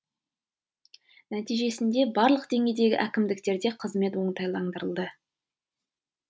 нәтижесінде барлық деңгейдегі әкімдіктерде қызмет оңтайландырылды